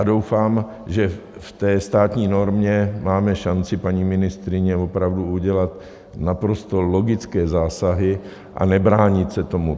A doufám, že v té státní normě máme šanci, paní ministryně, opravdu udělat naprosto logické zásahy a nebránit se tomu.